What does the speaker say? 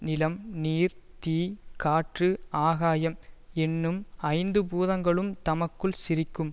நிலம் நீர் தீ காற்று ஆகாயம் என்னும் ஐந்து பூதங்களும் தமக்குள் சிரிக்கும்